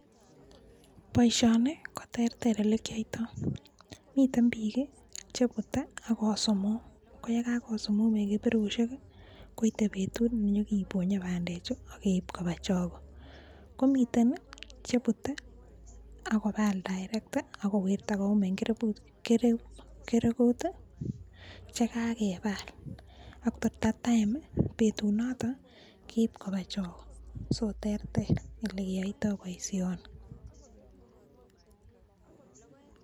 Boisioni ko terter ole kiyaitoi, miten biik cheputei ako sumuum, ko ye kakosumum eng keterushek koite betut nenyekeponyei bandechu ak keip koba choge. Komiten che putei ako paal direct ako wirta kouum eng kereput chekakepaal ak at that time betunoto kepaal ak keip koba choge, so terter ole keyaitoi boisioni.